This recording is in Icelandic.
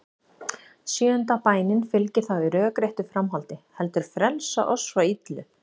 Sjöunda bænin fylgir þá í rökréttu framhaldi: Heldur frelsa oss frá illu.